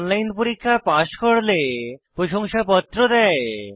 online পরীক্ষা pass করলে প্রশংসাপত্র দেয়